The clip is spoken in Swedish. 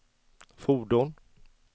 fordon